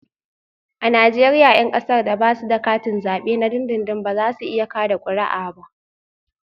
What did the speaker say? A Najeriya 'yan kasar da ba su da katin zabe na dindindin ba za su iya kada kuri'a ba